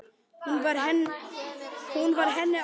Hún var henni allt.